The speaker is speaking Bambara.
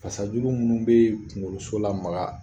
Fasajuru minnu bɛ kunkoloso la maka